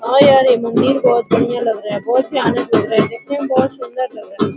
बहुत बढ़िया लग रहा है बहुत भयानक लग रहा है देखने मे बहुत सुन्दर लग रहा है ।